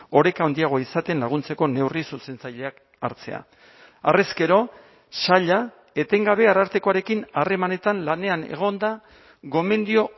oreka handiagoa izaten laguntzeko neurri zuzentzaileak hartzea harrezkero saila etengabe arartekoarekin harremanetan lanean egon da gomendio